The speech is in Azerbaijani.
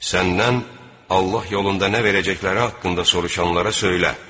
Səndən Allah yolunda nə verəcəkləri haqqında soruşanlara söylə.